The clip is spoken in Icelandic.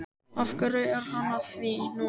Af hverju er hann að því núna?